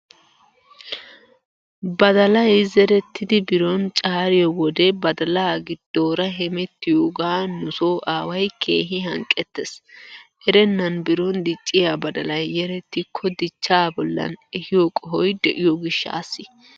Badalay zerettidi biro caariyoo wode badala giddoora hemettiyoogaa nu soo aaway keehi hanqqettees. Erennan biron dicciyaa badalay yerettikko dichchaa bollan ehiyoo qohoy de"iyoo gishshaassi.